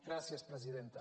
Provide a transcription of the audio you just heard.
gràcies presidenta